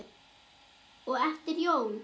og eftir jól.